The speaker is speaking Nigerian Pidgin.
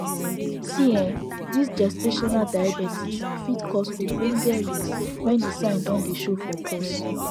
see this gestational diabetes fit cause ogbonge risks when the sign don dey show for pause